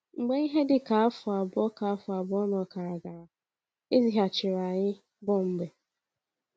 Mgbe ihe dị ka afọ abụọ ka afọ abụọ na ọkara gara, e zighachiri anyị Bọmbee.